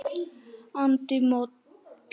andi moll.